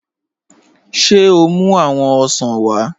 Ṣé o mú awọn òṣàn wa?